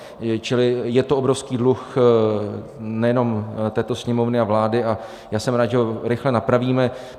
Čili je to obrovský dluh nejenom této Sněmovny a vlády a já jsem rád, že ho rychle napravíme.